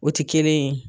O ti kelen ye